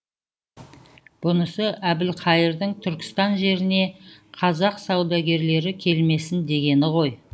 бұнысы әбілқайырдың түркістан жеріне қазақ саудагерлері келмесін дегені ғой